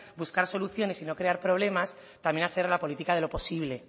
buscar soluciones y no crear problemas también hacer la política de lo posible